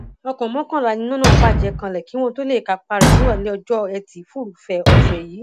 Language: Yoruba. ọkọ mọkànlá ni iná náà bàjẹ kanlẹ kí wọn tóó lè kápá rẹ nírọlẹ ọjọ etí furuufee ọsẹ yìí